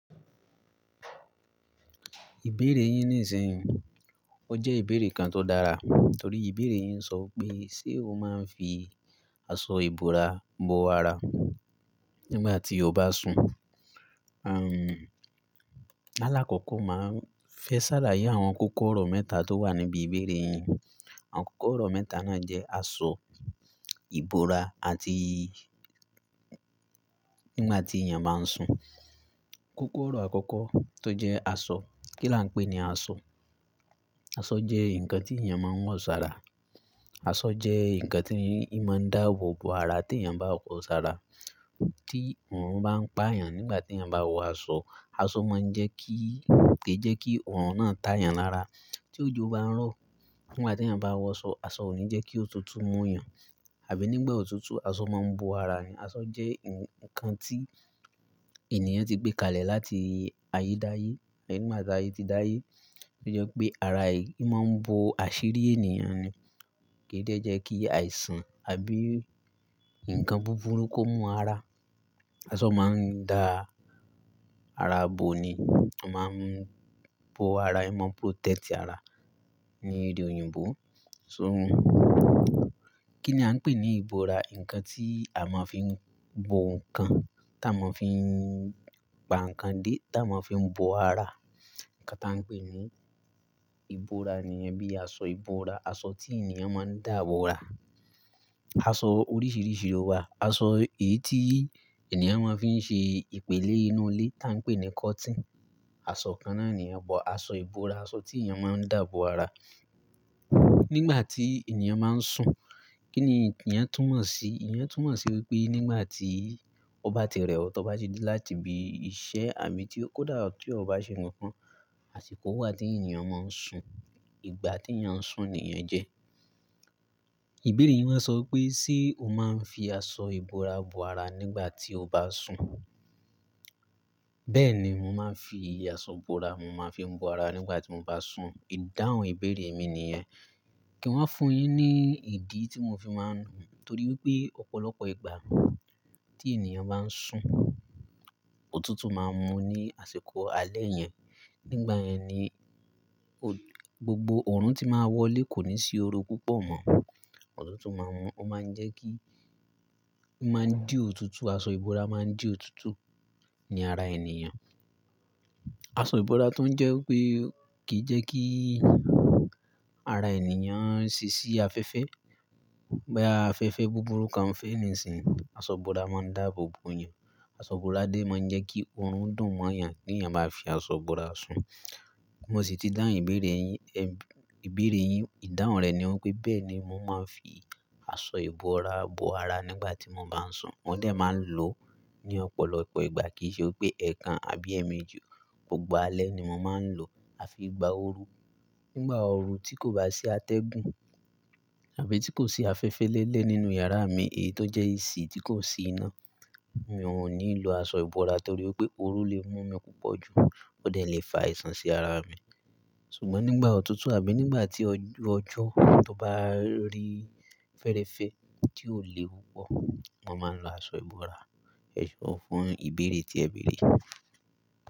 Ìbéèrè yín ní ìsìn, ó jẹ́ ìbéèrè kan tó dára, torí ìbéèrè yín so pé, ṣe o máa ń fi aṣọ ìbora bo ara nígbà tí o bá sùn? Alákọ̀kọ̀ máa ń fẹ sàlàyé àwọn kókó ọ̀rọ̀ mẹ́ta tó wà níbi ìbéèrè yín. Àwọn kókó ọ̀rọ̀ mẹ́ta náà jẹ́ aṣọ, ìbora àti nígbà tí ènìyàn bá ń sùn. Kókó ọ̀rọ̀ àkọ́kọ́ tó jẹ́ aṣọ, kí la ń pè ní aṣọ? Aṣọ jẹ́ ǹkan tí ènìyàn máa ń wọ̀ sára. Aṣọ jẹ́ ǹkan tí í máa ń dáàbò bo ara tí ènìyàn bá wọ̀ sára. Tí òórùn bá ń pá ènìyàn nígbà tí ènìyàn bá wọ aṣọ, aṣọ máa ń jẹ́ kí, kì í jẹ́ kí òórùn náà tá ènìyàn lára. Tí òjò bá ń rọ̀ nígbà tí ènìyàn bá wọ aṣọ, aṣọ ò ní jẹ́ kí òtútù mú ènìyàn, àbí nígbà òtútù aṣọ máa ń bo ara ẹni. Aṣọ jẹ́ ǹkan tí ènìyàn ti gbé kalẹ̀ láti ayé dáyé, àbí nígbà tí ayé ti dáyé. Ó jẹ́ pé ara èyí máa ń bo àṣírí ènìyàn ni. Kì í dè jẹ́ kí àìsàn àbí ǹkan búburú kó mú ara. Aṣọ máa ń dáa ara bo ni. A máa ń bo ara, a máa ń protect ara ni èdè òyìnbó. So, kí ni a ń pè ní ìbora? Ǹkan tí a máa ń fi bo ǹkan, tí a máa ń fi pa ǹkan dé, tí a máa ń fi bo ara. Ǹkan tá ń pè ní ìbora nìyẹn bíi aṣọ ìbora, aṣọ tí ènìyàn máa ń dà bo ara. Aṣọ oríṣìíríṣìí ló wà. Aṣọ èyí tí ènìyàn máa ń fi ṣe ìpélé inú ilé tá ń pè ní cotton. Aṣọ kan náà nìyen but. Aṣọ ìbora, aṣọ tí ènìyàn máa ń dà bo ara nígbà tí ènìyàn máa ń sùn. Kí ni ènìyàn tún mọ̀ si? Ẹ̀níyàn tún mọ̀ si wípé nígbà tí ó bá ti rẹ̀ ọ́, tí ó bá ti dé láti ibi iṣẹ́ àbí tí ó kó dà, tí ó bá ṣe nǹkan, àsìkò wà tí ènìyàn máa ń sùn. Ìgbà tí ènìyàn ń sùn nìyẹn jẹ́. Ìbéèrè yín máa sọ wípé, ṣe o máa ń fi aṣọ ìbora bo ara nígbà tí o bá sùn? Bẹ́ẹ̀ni, mo máa ń fi aṣọ ìbora, mo máa ń fi bo ara nígbà tí mo bá sùn. Ìdáhùn ìbéèrè mi nìyẹn. Kí n wá fún un yín ní ìdí tí mo fi máa ń nù. Torí wípé ọ̀pọ̀lọpọ̀ ìgbà tí ènìyàn bá ń sùn, òtútù máa ń mú ní àsìkò alẹ́ yẹn. Nígbà yẹn ni gbogbo òórùn tí máa wọlé kò ní sí oru púpọ̀ mọ́. Òtútù máa ń mú, ó máa ń jẹ́ kí ó máa ń dí òtútù. Aṣọ ìbora máa ń dí òtútù ní ara ènìyàn. Aṣọ ìbora tó ń jẹ́ wípé kì í jẹ́ kí ara ènìyàn ṣí sí afẹ́fẹ́. Bí afẹ́fẹ́ búburú kan fẹ́ nísìnyí, aṣọ ìbora máa ń dà bóbo yàn. Aṣọ ìbora dé máa ń jẹ́ kí òórùn dùn mọ́ yàn tí ènìyàn bá fi aṣọ ìbora sùn. Mo sì ti dáùn ìbéèrè yín, ìbéèrè yín, ìdáhùn rẹ̀ ni wípé bẹ́ẹ̀ni mo máa ń fi aṣọ ìbora bo ara nígbà tí mo bá ń sùn. Mo dè máa ń lò ó ní ọ̀pọ̀lọpọ̀ ìgbà kì í ṣe wípé ẹ̀ẹ̀kan àbí ẹ̀ẹ̀méjì gbogbo alẹ́ ni mo máa ń lò ó, àfi ìgbà ooru. Nígbà ooru tí kò bá sí atẹ́gùn àbí tí kò sí afẹ́fẹ́ lẹ́lẹ̀ nínú yàrá mi, èyí tó jẹ́ AC tí kò sí iná, mi ò ní lo aṣọ ìbora torí wípé ooru lè mú mi púpọ̀ jù ó dẹ̀ lè fa àìsàn sí ara mi. Ṣùgbọ́n nígbà òtútù àbí nígbà tí ojú ọjọ́ tó bá rí fẹ́rẹ́fẹ́ tí ò léwu púpọ̀, mo máa ń lo aṣọ ìbora. Ẹ̀sọ́ fún ìbéèrè tí ẹ béèrè.